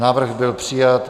Návrh byl přijat.